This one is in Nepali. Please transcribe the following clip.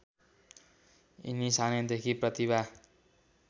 यिनी सानैदेखि प्रतिभा